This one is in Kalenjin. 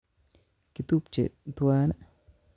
Kitubche tuwan'i?